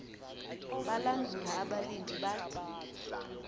balandula abalindi bathi